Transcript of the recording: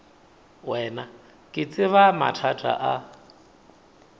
wena ke tseba mathata a